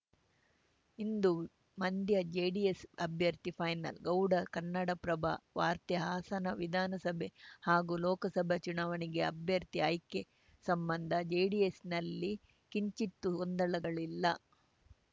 ಇಂದು Mandya JDS ಅಭ್ಯರ್ಥಿ final Gowda ಕನ್ನಡನ್ನಪ್ರಭ ವಾರ್ತೆ ಹಾಸನ ವಿಧಾನಸಭೆ ಹಾಗೂ ಲೋಕಸಭೆ ಚುನಾವಣೆಗೆ ಅಭ್ಯರ್ಥಿ ಆಯ್ಕೆ ಸಂಬಂಧ ಜೆಡಿಎಸ್‌ನಲ್ಲಿ ಕಿಂಚಿತ್ತೂ ಗೊಂದಲಗಳಿಲ್ಲ